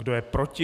Kdo je proti?